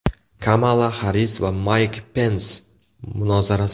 Kamala Xarris va Mayk Pens munozarasi.